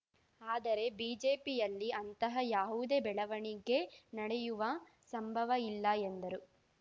ಆದರೆ ಬಿಜೆಪಿಯಲ್ಲಿ ಅಂತಹ ಯಾವುದೇ ಬೆಳವಣಿಗೆ ನಡೆಯುವ ಸಂಭವ ಇಲ್ಲ ಎಂದರು